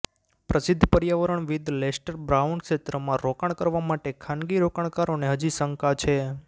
પ્રસિધ્ધ પર્યાવરણવિદ Lester Brown ક્ષેત્રમાં રોકાણ કરવા માટે ખાનગી રોકાણકારોને હજી શંકા છે